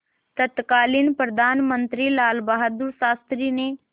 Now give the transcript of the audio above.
तत्कालीन प्रधानमंत्री लालबहादुर शास्त्री ने